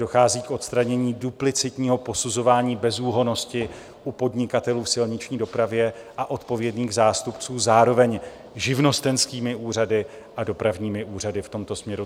Dochází k odstranění duplicitního posuzování bezúhonnosti u podnikatelů v silniční dopravě a odpovědných zástupců zároveň živnostenskými úřady a dopravními úřady v tomto směru.